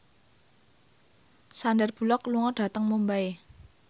Sandar Bullock lunga dhateng Mumbai